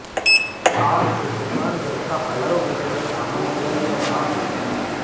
आग से दुकान में रखा हजारों रुपए का सामान जल कर राख हो गया